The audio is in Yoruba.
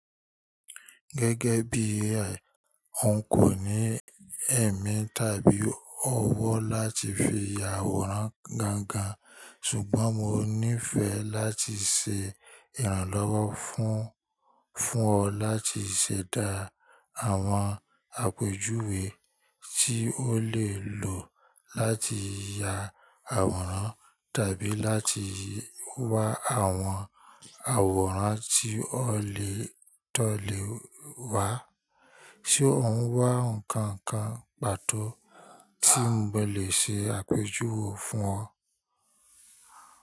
Gẹ́gẹ́ bí AI, n kò ní èmí tàbí ọwọ́ láti fi ya àwòrán gangan, ṣùgbọ́n mo níìfẹ̀ láti ṣe ìrànlọ́wọ́ fún, fún ọ láti ṣẹ̀dá àwọn àpèjúwe tí ó lè lò láti ya àwòrán tàbí láti wa àwọn àwòrán tí o lè tọlè wa. Ṣé o ń wá nǹkan kan pàtó tí mo lè ṣe àpèjúwe fún ọ?